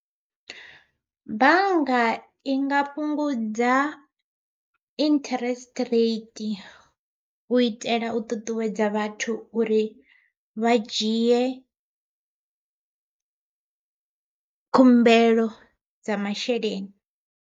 Bannga i nga fhungudza interest rate, u itela u ṱuṱuwedza vhathu uri vha dzhiye khumbelo dza masheleni.